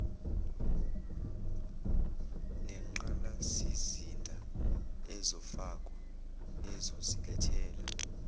nengqalasizinda ezofakwa ezosilethela